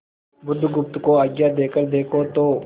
बुधगुप्त को आज्ञा देकर देखो तो